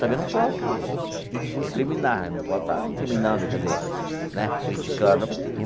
Também não posso recriminar, não posso estar incriminando, quer dizer né, criticando.